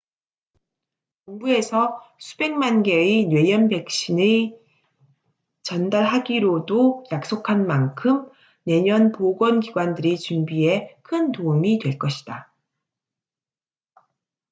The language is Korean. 정부에서 수백만 개의 뇌염 백신의 전달하기로도 약속한 만큼 내년 보건 기관들의 준비에 큰 도움이 될 것이다